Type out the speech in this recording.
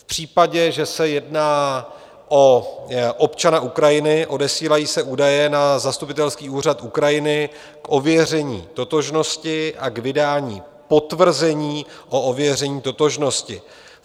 V případě, že se jedná o občana Ukrajiny, odesílají se údaje na zastupitelský úřad Ukrajiny k ověření totožnosti a k vydání potvrzení o ověření totožnosti.